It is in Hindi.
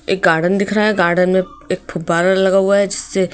एक गार्डन दिख रहा है गार्डन में एक फुब्बारा लगा हुआ है जिससे--